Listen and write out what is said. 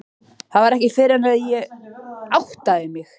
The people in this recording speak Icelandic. Það var ekki fyrr en þá að ég áttaði mig.